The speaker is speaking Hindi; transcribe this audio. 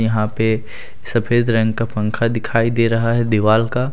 यहां पे सफेद रंग का पंखा दिखाई दे रहा है दीवाल का।